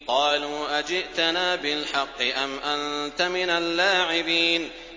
قَالُوا أَجِئْتَنَا بِالْحَقِّ أَمْ أَنتَ مِنَ اللَّاعِبِينَ